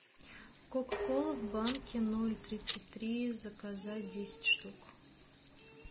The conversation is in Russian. кока кола в банке ноль тридцать три заказать десять штук